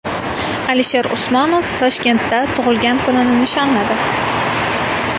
Alisher Usmonov Toshkentda tug‘ilgan kunini nishonladi .